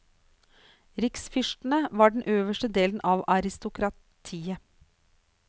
Riksfyrstene var den øverste delen av aristokratiet.